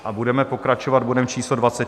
A budeme pokračovat bodem číslo